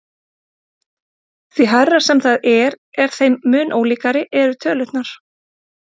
Því hærra sem það er þeim mun ólíkari eru tölurnar.